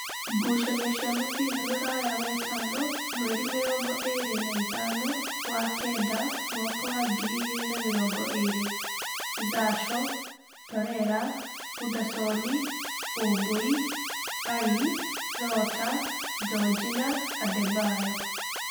Ngucanio cia mũbira Ruraya Wetano mweri mĩrongoĩrĩ na ĩthano wa kenda mwaka wa ngiri igĩrĩ na mĩrongoĩrĩ: Zasho, Torera, Hudasoni-ũmbui, Ali, Rota, Njojina, Adembayo